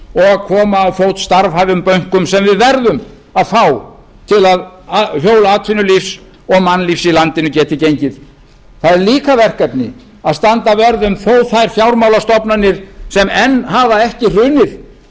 og koma á fót starfhæfum bönkum sem við verðum að fá til að hjól atvinnulífs og mannlífs í landinu geti gengið það er líka verkefni að standa vörð um þó þær fjármálastofnanir sem enn hafa ekki hrunið